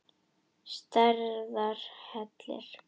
Stærðar hellir?